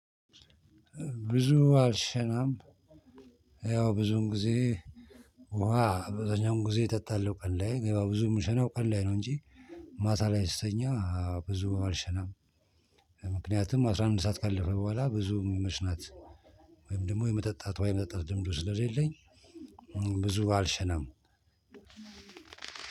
ብዙ አልሸናም። ያው ብዙን ጊዜ ውሃ አብዛኛውን ጊዜ የእጠጣለው ቀን ላይ ብዙ የምሸነው ቀን ላይ ነው እንጂ ማታ ላይ ስተኛ ብዙ አልሸናም። ምክንያቱም አስራ አንድ ሰዓት ካለፈ በኋላ ብዙ መሽናት። ወይም ደግሞ የመጠጣት ውሃ የመጠጣት ልምዱ ስለሌለኝ። ብዙ አልሸናም።